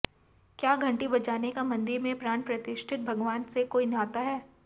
क्या घंटी बजाने का मंदिर में प्राण प्रतिष्ठित भगवान से कोई नाता है